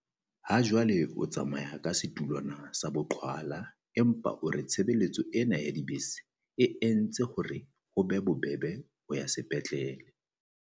Hajwale o tsamaya ka setulwana sa boqhwala empa o re tshebeletso ena ya dibese e entse hore ho be bobebe ho ya sepetlele.